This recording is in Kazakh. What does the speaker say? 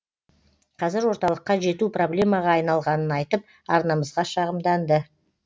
қазір орталыққа жету проблемаға айналғанын айтып арнамызға шағымданды